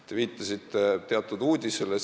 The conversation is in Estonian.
Te viitasite teatud uudisele.